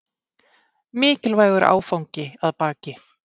Mikilvægur áfangi að baki